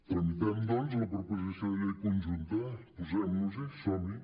tramitem la proposició de llei conjunta posem·nos·hi som·hi